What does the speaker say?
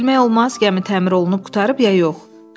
Hələ bilmək olmaz ki, gəmi təmir olunub qurtarıb ya yox.